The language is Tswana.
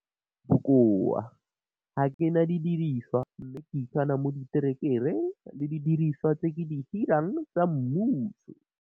Bokoa. Ga ke na didiriswa mme ke ikana mo diterekereng le didiriswa tse ke di hirang tsa mmuso.